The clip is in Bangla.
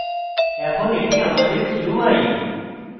এখন এটি আমাদের gui